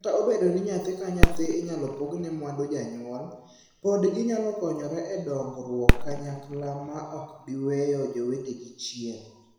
Kata obedo ni nyathi ka nyathi inyal pogne mwandu janyuol, pod ginyalo konyore e dongruok kanyakla ma ok giweyo jowetegi chien.